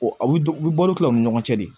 O u bɛ bɔ ni tila u ni ɲɔgɔn cɛ de